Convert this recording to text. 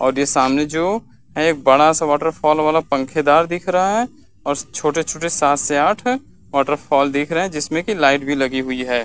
और ये सामने जो है एक बड़ा सा वाटरफॉल वाला फंखेदार दिख रहा है और छोटे-छोटे सात से आठ हैं वाटरफॉल दिख रहे हैं। जिसमे की लाइट भी लगी हुई है।